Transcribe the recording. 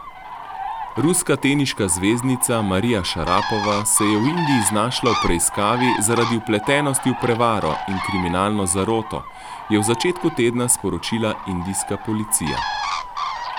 Ruska teniška zvezdnica Marija Šarapova se je v Indiji znašla v preiskavi zaradi vpletenosti v prevaro in kriminalno zaroto, je v začetku tedna sporočila indijska policija.